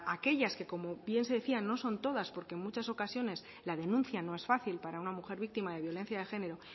aquellas que como bien se decía no son todas porque en muchas ocasiones la denuncia no es fácil para una mujer víctima de violencia de género